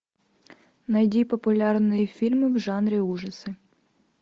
найди популярные фильмы в жанре ужасы